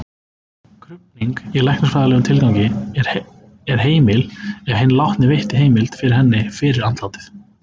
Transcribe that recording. Krufning í læknisfræðilegum tilgangi er heimil ef hinn látni veitti heimild fyrir henni fyrir andlátið.